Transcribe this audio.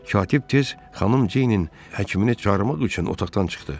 Katib tez xanım Ceynin həkimini çağırmaq üçün otaqdan çıxdı.